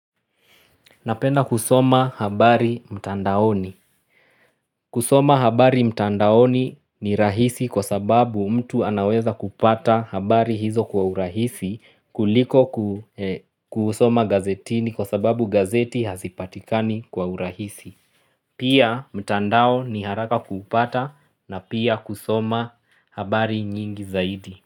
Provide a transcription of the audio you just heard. Napenda kusoma habari mtandaoni kusoma habari mtandaoni ni rahisi kwa sababu mtu anaweza kupata habari hizo kwa urahisi kuliko kusoma gazetini kwa sababu gazeti hazipatikani kwa urahisi Pia mtandao ni haraka kupata na pia kusoma habari nyingi zaidi.